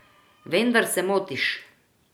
Vendar se motiš.